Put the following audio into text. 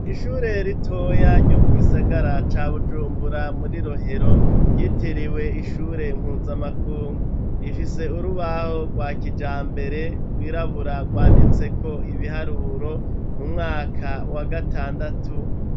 Ishure ritoya ryo mu gisagara ca bujumbura muri rohero ryitiriwe ishure mpuzamakungu rifise urubaho rwa kijambere rwirabura rwanditse ko ibiharuro mu mwaka wa gatandatu.